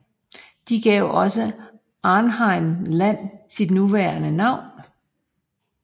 De gav også Arnhem Land sit nuværende navn